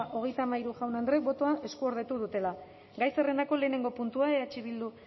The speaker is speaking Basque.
hogeita hamabi jaun andreek botoa eskuordetu dutela gai zerrendako lehenengo puntua eh bildu